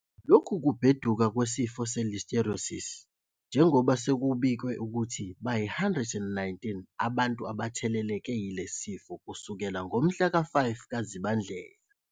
Lokhu kubheduka kwesifo se-Listeriosis, njengoba sekubikwe ukuthi bayi-119 abantu abatheleleke yilesi sifo kusukela ngomhla ka-5 kuZibandlela.